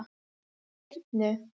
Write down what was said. Hyrnu